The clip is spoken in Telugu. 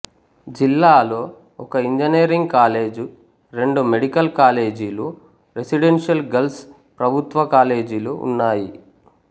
జిల్లాలో ఒక ఇంజనీరింగ్ కాలేజ్ రెండు మెడికల్ కాలేజులు రెసీడెంషియల్ గరల్స్ ప్రభుత్వ కాలేజులు జూన్నాయి